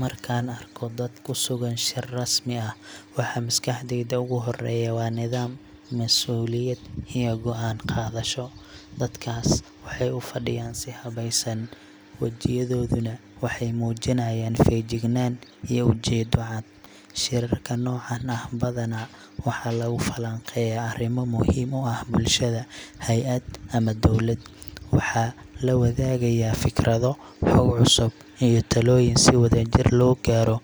Markaan arko dad ku sugan shir rasmi ah, waxa maskaxdayda ugu horreeya waa nidaam, mas’uuliyad iyo go’aan qaadasho. Dadkaas waxay u fadhiyaan si habeysan, wajiyadooduna waxay muujinayaan feejignaan iyo ujeedo cad. Shirarka noocan ah badanaa waxaa lagu falanqeeyaa arrimo muhiim u ah bulshada, hay’ad, ama dowlad. Waxaa la wadaagayaa fikrado, xog cusub, iyo talooyin si wadajir loo gaaro